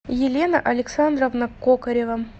елена александровна кокарева